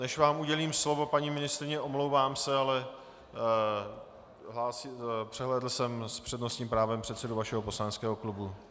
Než vám udělím slovo, paní ministryně, omlouvám se, ale přehlédl jsem s přednostním právem předsedu vašeho poslaneckého klubu.